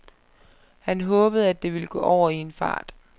Han håbede, at det ville gå over i en fart.